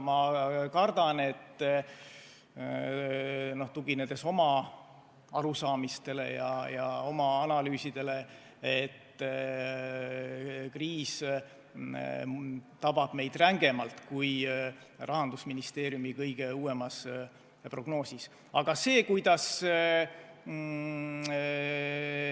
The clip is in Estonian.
Ma kardan, tuginedes oma arusaamistele ja oma analüüsidele, et kriis tabab meid rängemalt, kui Rahandusministeeriumi kõige uuemas prognoosis.